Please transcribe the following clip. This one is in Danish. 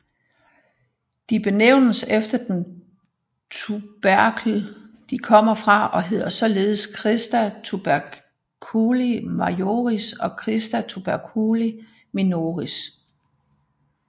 De benævnes efter den tuberkel de kommer fra og hedder således crista tuberculi majoris og crista tuberculi minoris